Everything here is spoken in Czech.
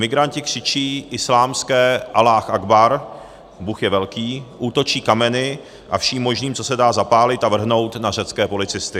Migranti křičí islámské Alláh agbar, Bůh je velký, útočí kameny a vším možným, co se dá zapálit a vrhnout na řecké policisty.